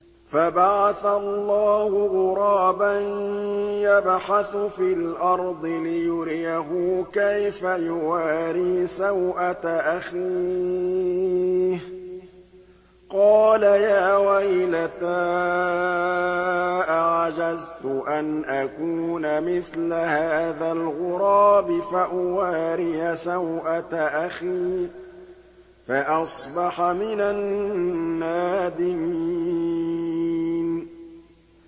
فَبَعَثَ اللَّهُ غُرَابًا يَبْحَثُ فِي الْأَرْضِ لِيُرِيَهُ كَيْفَ يُوَارِي سَوْءَةَ أَخِيهِ ۚ قَالَ يَا وَيْلَتَا أَعَجَزْتُ أَنْ أَكُونَ مِثْلَ هَٰذَا الْغُرَابِ فَأُوَارِيَ سَوْءَةَ أَخِي ۖ فَأَصْبَحَ مِنَ النَّادِمِينَ